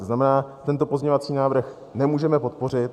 To znamená, tento pozměňovací návrh nemůžeme podpořit.